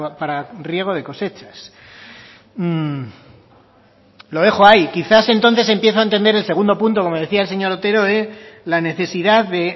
para riego de cosechas lo dejo ahí quizás entonces empiezo a entender el segundo punto como decía el señor otero la necesidad de